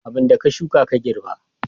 Abin da ka shuka ka girbi